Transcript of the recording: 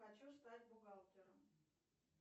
хочу стать бухгалтером